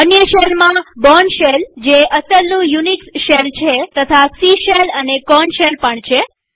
અન્ય શેલમાં Bourne shell જે અસલનું યુનિક્સ શેલ છે તથા સી શેલ અને કોર્ન શેલ છે